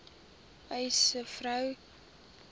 uys sê vroue